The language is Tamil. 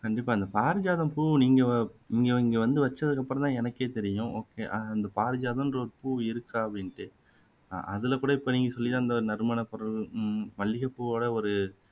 கண்டிப்பா இந்த பாரிஜாதம் பூ நீங்க நீங்க நீங்க வந்து வச்சதுக்கு அப்பறமா தான் எனக்கே தெரியும் okay அந்த பாரிஜாதம்ன்ற ஒரு இருக்கா அப்படின்னுட்டு ஆஹ் அதுல கூட இப்போ நீங்க சொல்லி தான் இந்த நறுமண பொருள் உம் மல்லிகை பூவொட ஒரு